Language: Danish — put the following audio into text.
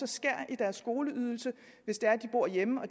skærer i deres skoleydelse hvis de bor hjemme og